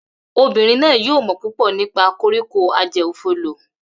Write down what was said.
Obinrin naa yoo mọ pupọ nipa koriko-ajeofolo